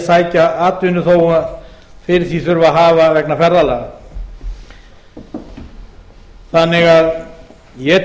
sækja atvinnu þó fyrir því þurfi að hafa vegna ferðalaga þannig að ég